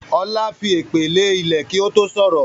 Ọlá fi èpè lè ilẹ̀ kí ó tó sọ̀rọ̀